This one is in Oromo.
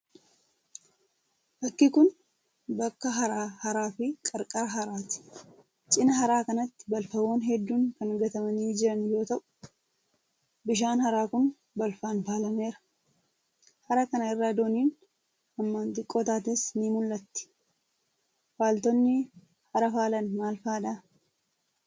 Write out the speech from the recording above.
Bakki kun, bakka haraa fi qarqara haraati. Cinaa haraa kanatti balfawwan hedduun kan gatamanii jiran yoo ta'u, bishaan haraa kun balfaan faalameera. Hara kana irra dooniin hammaan xiqqoo taates ni mul'atti. Faaltonni hara faalan maal faadha?